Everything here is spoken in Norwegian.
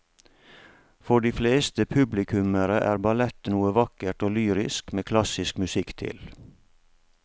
For de fleste publikummere er ballett noe vakkert og lyrisk med klassisk musikk til.